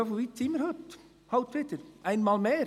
Ja, und so weit sind wir heute halt wieder, einmal mehr.